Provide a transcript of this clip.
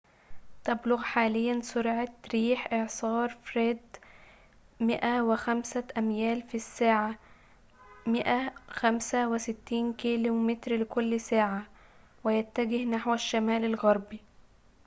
تبلغ حاليًا سرعة ريح إعصار فريد 105 أميال في الساعة 165 كم/ساعة ويتجه نحو الشمال الغربي